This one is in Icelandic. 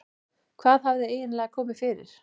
Hvað hafði eiginlega komið fyrir?